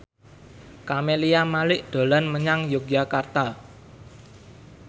Camelia Malik dolan menyang Yogyakarta